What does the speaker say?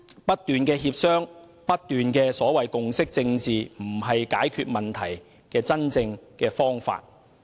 不斷協商和共識政治並非解決問題的真正方法。